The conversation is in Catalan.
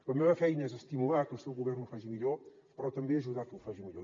la meva feina és estimular que el seu govern ho faci millor però també ajudar a que ho faci millor